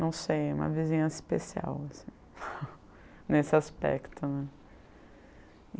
Não sei, uma vizinhança especial assim, nesse aspecto, né.